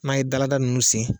N'an ye dalada ninnu sen